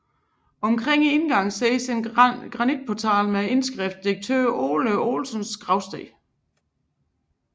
Omkring indgangen ses en granitportal med indskriften Direktør Ole Olsens Gravsted